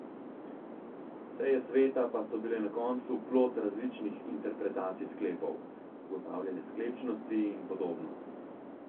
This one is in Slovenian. Seje sveta pa so bile na koncu plod različnih interpretacij sklepov, ugotavljanja sklepčnosti in podobno.